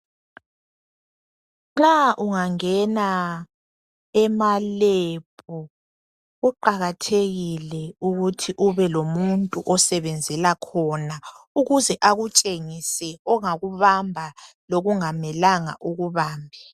Nxa ungangena ema lab kuqakathekile ukuthi ube lomuntu osebenzela khona ukuze akutshengise ongakubamba longamelanga ukubambe